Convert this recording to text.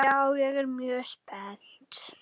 Já, ég er mjög spennt.